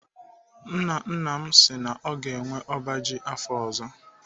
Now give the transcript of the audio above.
Nna nna m si na ọ ga-enwe ọba ji afọ ọzọ.